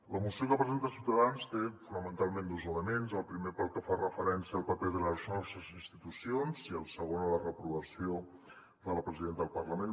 la moció que presenta ciutadans té fonamentalment dos elements el primer pel que fa referència al paper de les nostres institucions i el segon a la reprovació de la presidenta del parlament